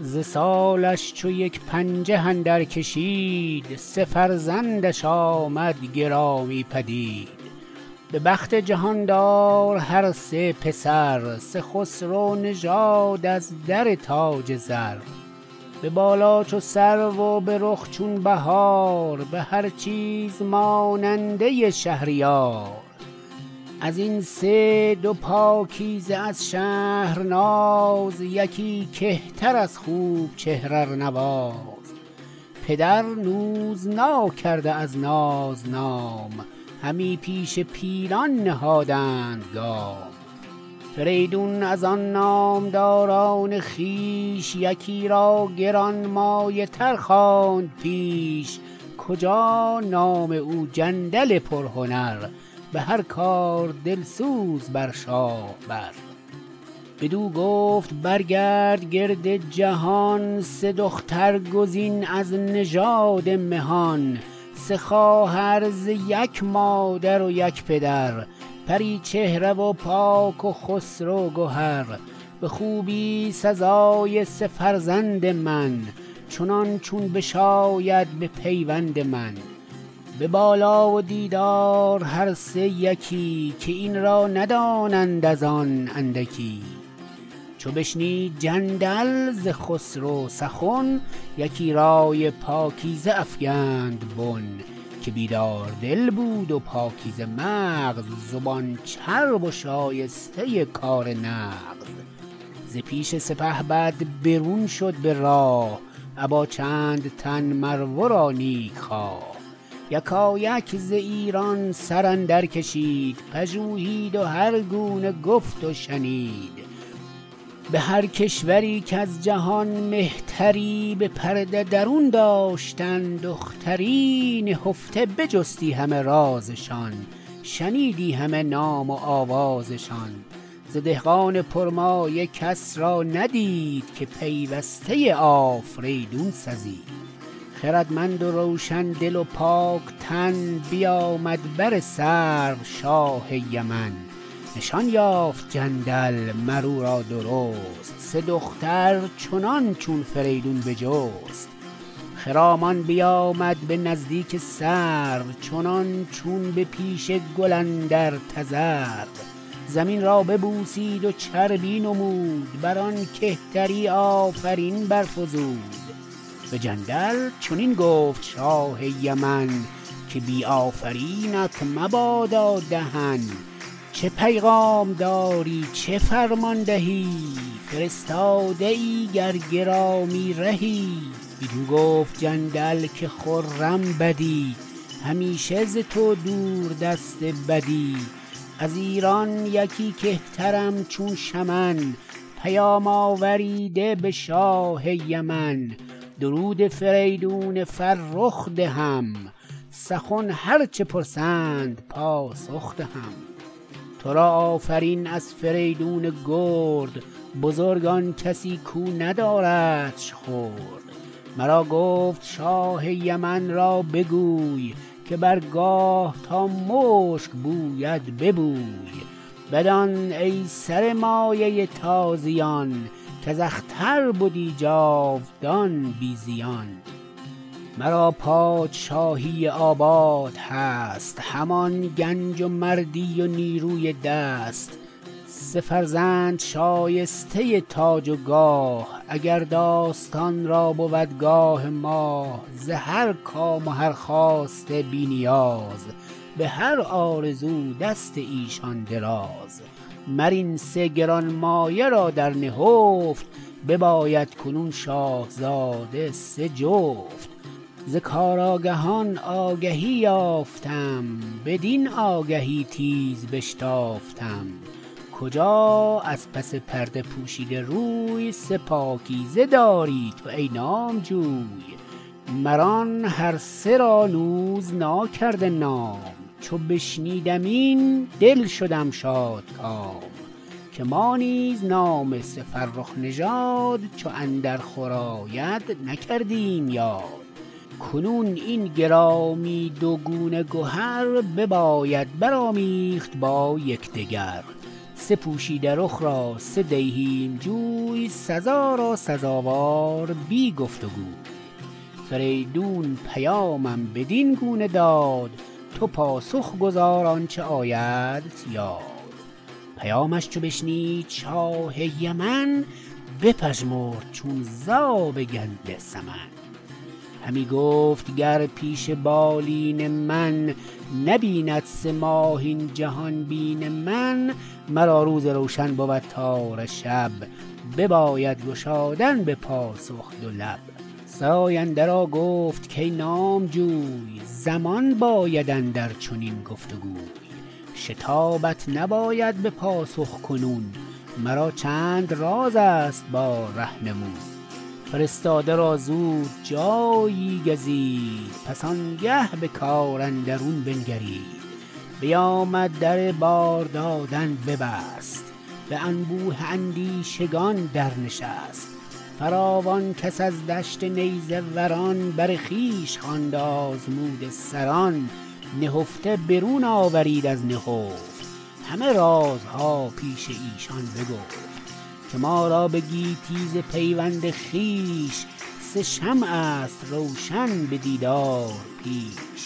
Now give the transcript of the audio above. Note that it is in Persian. ز سالش چو یک پنجه اندر کشید سه فرزند ش آمد گرامی پدید به بخت جهاندار هر سه پسر سه خسرو نژاد از در تاج زر به بالا چو سرو و به رخ چون بهار به هر چیز ماننده شهریار از این سه دو پاکیزه از شهرناز یکی کهتر از خوب چهر ارنواز پدر نوز ناکرده از ناز نام همی پیش پیلان نهادند گام فریدون از آن نامداران خویش یکی را گرانمایه تر خواند پیش کجا نام او جندل پرهنر به هر کار دلسوز بر شاه بر بدو گفت برگرد گرد جهان سه دختر گزین از نژاد مهان سه خواهر ز یک مادر و یک پدر پری چهره و پاک و خسرو گهر به خوبی سزای سه فرزند من چنان چون بشاید به پیوند من به بالا و دیدار هر سه یکی که این را ندانند ازان اندکی چو بشنید جندل ز خسرو سخن یکی رای پاکیزه افگند بن که بیدار دل بود و پاکیزه مغز زبان چرب و شایسته کار نغز ز پیش سپهبد برون شد به راه ابا چند تن مر ورا نیکخواه یکایک ز ایران سراندر کشید پژوهید و هرگونه گفت و شنید به هر کشوری کز جهان مهتری به پرده درون داشتن دختری نهفته بجستی همه راز شان شنیدی همه نام و آواز شان ز دهقان پر مایه کس را ندید که پیوسته آفریدون سزید خردمند و روشن دل و پاک تن بیامد بر سرو شاه یمن نشان یافت جندل مر اورا درست سه دختر چنان چون فریدون بجست خرامان بیامد به نزدیک سرو چنان چون به پیش گل اندر تذرو زمین را ببوسید و چربی نمود برآن کهتری آفرین برفزود به جندل چنین گفت شاه یمن که بی آفرینت مبادا دهن چه پیغام داری چه فرمان دهی فرستاده ای گر گرامی رهی بدو گفت جندل که خرم بدی همیشه ز تو دور دست بدی از ایران یکی کهترم چون شمن پیام آوریده به شاه یمن درود فریدون فرخ دهم سخن هر چه پرسند پاسخ دهم ترا آفرین از فریدون گرد بزرگ آن کسی کو نداردش خرد مرا گفت شاه یمن را بگوی که بر گاه تا مشک بوید ببوی بدان ای سر مایه تازیان کز اختر بدی جاودان بی زیان مرا پادشاهی آباد هست همان گنج و مردی و نیروی دست سه فرزند شایسته تاج و گاه اگر داستان را بود گاه ماه ز هر کام و هر خواسته بی نیاز به هر آرزو دست ایشان دراز مر این سه گرانمایه را در نهفت بباید کنون شاهزاده سه جفت ز کار آگهان آگهی یافتم بدین آگهی تیز بشتافتم کجا از پس پرده پوشیده روی سه پاکیزه داری تو ای نامجوی مران هرسه را نوز ناکرده نام چو بشنیدم این دل شدم شادکام که ما نیز نام سه فرخ نژاد چو اندر خور آید نکردیم یاد کنون این گرامی دو گونه گهر بباید برآمیخت با یکدگر سه پوشیده رخ را سه دیهیم جوی سزا را سزاوار بی گفت وگوی فریدون پیامم بدین گونه داد تو پاسخ گزار آنچه آیدت یاد پیامش چو بشنید شاه یمن بپژمرد چون زاب کنده سمن همی گفت گر پیش بالین من نبیند سه ماه این جهان بین من مرا روز روشن بود تاره شب بباید گشادن به پاسخ دو لب سراینده را گفت کای نامجوی زمان باید اندر چنین گفت گوی شتابت نباید به پاسخ کنون مرا چند راز ست با رهنمون فرستاده را زود جایی گزید پس آنگه به کار اندرون بنگرید بیامد در بار دادن ببست به انبوه اندیشگان در نشست فراوان کس از دشت نیزه وران بر خویش خواند آزموده سران نهفته برون آورید از نهفت همه راز ها پیش ایشان بگفت که ما را به گیتی ز پیوند خویش سه شمع ست روشن به دیدار پیش